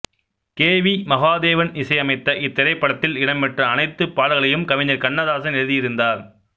K V Mahadevan இசையமைத்த இத்திரைப்படத்தில் இடம்பெற்ற அனைத்து பாடல்களையும் கவிஞர் கண்ணதாசன் எழுதியிருந்தார்